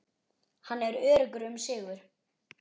Hann er öruggur um sigur.